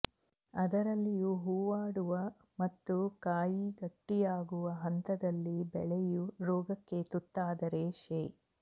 ಅದರಲ್ಲಿಯೂ ಹೂವಾಡುವ ಮತ್ತು ಕಾಯಿ ಗಟ್ಟಿಯಾಗುವ ಹಂತದಲ್ಲಿ ಬೆಳೆಯು ರೋಗಕ್ಕೆ ತುತ್ತಾದರೆ ಶೇ